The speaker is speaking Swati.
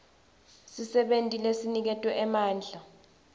sisebenti lesiniketwe emandla